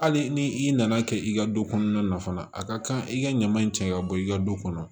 Hali ni i nana kɛ i ka du kɔnɔna na fana a ka kan i ka ɲaman in cɛ ka bɔ i ka du kɔnɔ